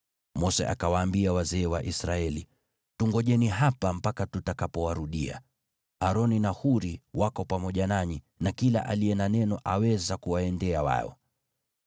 Mose akawaambia wazee wa Israeli, “Tungojeni hapa mpaka tutakapowarudia. Aroni na Huri wako pamoja nanyi, na kila aliye na neno aweza kuwaendea wao.”